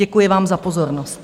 Děkuji vám za pozornost.